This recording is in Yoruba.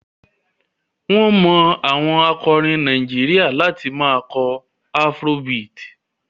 Wọ́n mọ àwọn akọrin Nàìjíríà láti máa kọ afrobeat.